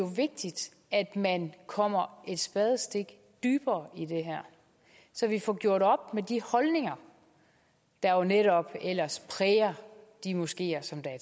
vigtigt at man kommer et spadestik dybere i det her så vi får gjort op med de holdninger der jo netop ellers præger de moskeer som der er